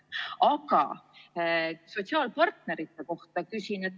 Aga küsin ka sotsiaalpartnerite kohta.